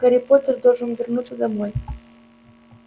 гарри поттер должен вернуться домой